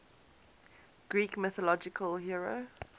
greek mythological hero